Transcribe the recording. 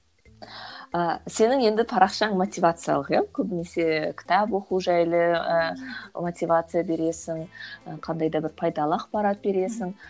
ыыы сенің енді парақшаң мотивациялық иә көбінесе кітап оқу жайлы ы мотивация бересің қандай да бір пайдалы ақпарат бересің